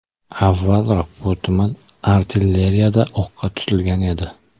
Avvalroq bu tuman artilleriyada o‘qqa tutilgan edi.